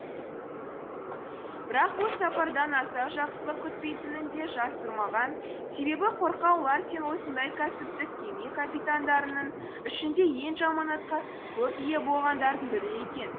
бірақ бұл сапардан аса жақсылық күтпейтінін де жасырмаған себебі қорқау ларсен осындай кәсіптік кеме капитандарының ішінде ең жаманатқа көп ие болғандардың бірі екен